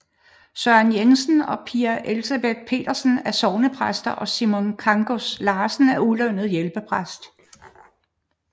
Søren Jensen og Pia Elisabeth Pedersen er sognepræster og Simon Kangas Larsen er ulønnet hjælpepræst